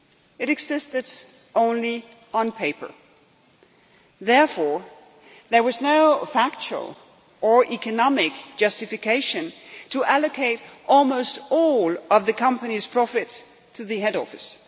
It existed only on paper. Therefore, there was no factual or economic justification for allocating almost all of the company's profits to the head office.